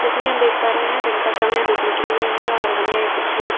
जैसे की हम देख पा रहे हैं दिन का समय हैं धुप निकली हुई हैं और हमें कुछ --